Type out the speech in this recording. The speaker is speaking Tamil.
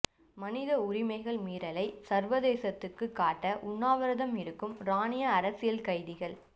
மனித உரிமைகள் மீறலை சர்வதேசத்துக்கு காட்ட உண்ணாவிரதம் இருக்கும் ஈரானிய அரசியல் கைதிகள்